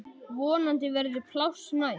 Vonandi verður pláss næst.